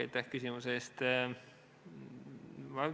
Aitäh küsimuse eest!